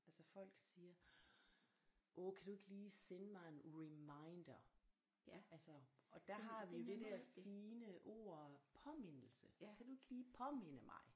Altså folk siger åh kan du ikke lige sende mig en reminder altså og der har vi jo det der fine ord påmindelse kan du ikke lige påminde mig